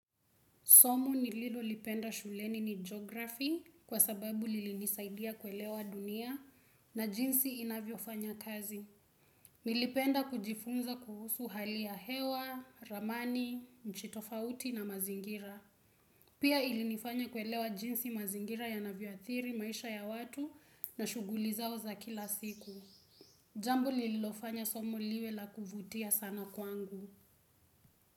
Somo nililolipenda shuleni ni geography kwa sababu lilinisaidia kuelewa dunia na jinsi inavyofanya kazi. Nilipenda kujifunza kuhusu hali ya hewa, ramani, nchi tofauti na mazingira. Pia ilinifanya kuelewa jinsi mazingira yanavyo athiri maisha ya watu na shuguli zao za kila siku. Jambo lilofanya somo liwe la kuvutia sana kwangu.